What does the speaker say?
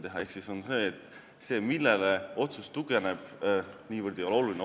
Ehk siis see, millele otsus tugineb, ei ole niivõrd oluline.